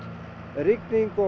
rigning og